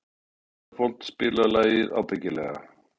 Ísafold, spilaðu lagið „Ábyggilega“.